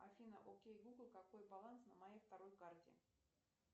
афина окей гугл какой баланс на моей второй карте